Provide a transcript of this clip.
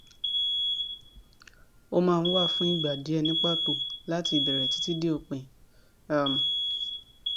ó máa ń wà fún ìgbà díẹ ni pato láti ìbẹrẹ títí dé òpin um